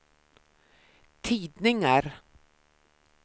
tidningar